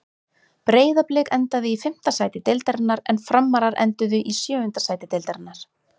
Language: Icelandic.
Breiðablik endaði í fimmta sæti deildarinnar en Framarar enduðu í sjöunda sæti deildarinnar.